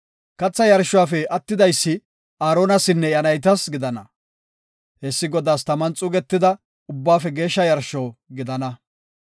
Katha yarshuwafe attidaysi Aaronasinne iya naytas gidana. Hessi Godaas taman xuugetida ubbaafe geeshsha yarsho gidana.